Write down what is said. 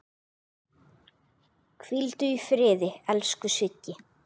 Hvíldu í friði, elsku Siggi.